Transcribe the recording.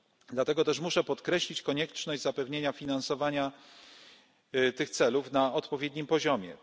Dlatego też muszę podkreślić konieczność zapewnienia finansowania tych celów na odpowiednim poziomie.